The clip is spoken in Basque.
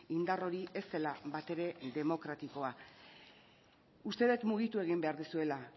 indar hori ez dela bat ere demokratikoa uste dut mugitu egin behar duzuela